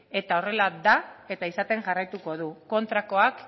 eta horrela da eta izaten jarraituko du kontrakoak